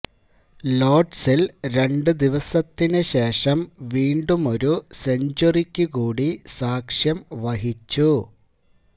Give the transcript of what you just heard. ലോര്ഡ്സില് രണ്ടു ദിവസത്തിനു ശേഷം വീണ്ടുമൊരു സെഞ്ചുറിക്കു കൂടി സാക്ഷ്യം വഹിച്ചു